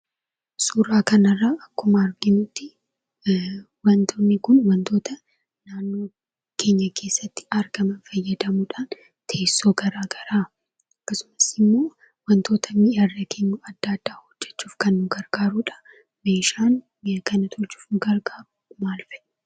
Suuraa kanarraa akkuma arginutti wantoonni kun wantoota naannoo keenya keessatti argaman fayyadamuudhaan teessoo garaagaraa akkasumas immoo wantoota mi'a irra keenyu adda addaa hojjachuuf kan nu gargaarudha. Meeshaan kana tochuuf nu gargaaru maal fa'i?